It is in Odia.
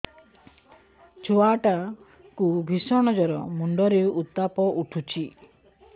ଛୁଆ ଟା କୁ ଭିଷଣ ଜର ମୁଣ୍ଡ ରେ ଉତ୍ତାପ ଉଠୁଛି